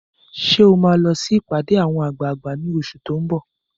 Ṣé ò máa lọ sí ìpàdé àwọn àgbààgbà ní oṣù tó n bọ̀?